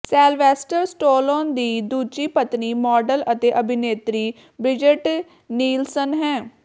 Sylvester Stallone ਦੀ ਦੂਜੀ ਪਤਨੀ ਮਾਡਲ ਅਤੇ ਅਭਿਨੇਤਰੀ ਬ੍ਰਿਜਟ ਨੀਲਸਨ ਹੈ